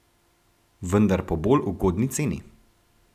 Vendar po bolj ugodni ceni.